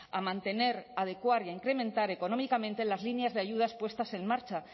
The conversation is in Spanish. a mantener adecuar y a incrementar económicamente las líneas de ayudas puestas en marcha